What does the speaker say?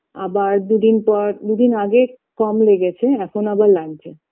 আবার দুদিন পর দুদিন আগে কম লেগেছে এখন আবার লাগছে